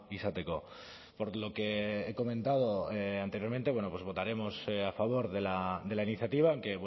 izateko por lo que he comentado anteriormente bueno pues votaremos a favor de la iniciativa que